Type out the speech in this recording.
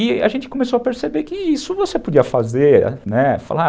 E a gente começou a perceber que isso você podia fazer, né? Falar